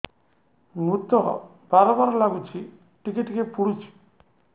ମୁତ ବାର୍ ବାର୍ ଲାଗୁଚି ଟିକେ ଟିକେ ପୁଡୁଚି